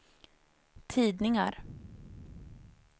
tidningar